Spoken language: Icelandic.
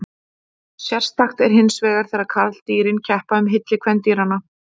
Sérstakt er hinsvegar þegar karldýrin keppa um hylli kvendýranna.